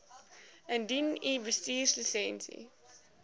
indien u bestuurslisensie